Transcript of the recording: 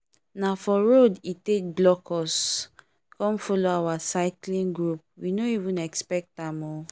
na for road e take block us come follow our cycling group we no even expect am o